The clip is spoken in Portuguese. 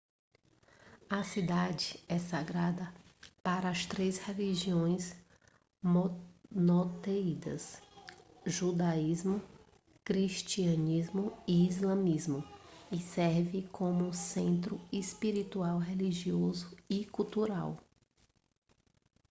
a cidade é sagrada para as três religiões monoteístas judaísmo cristianismo e islamismo e serve como um centro espiritual religioso e cultural